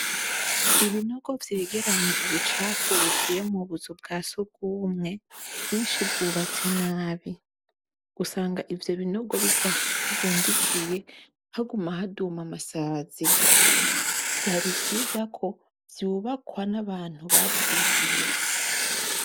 Ibinogo vyegerenya ubucafu buvuye mu buzu bwa surwumwe kenshi bwubatswe nabi. Usanga ivyo binogo bidafundikiye haguma haduma amasazi. Vyari vyiza ko vyubakwa n'abantu bavyigiye.